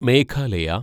Meghalaya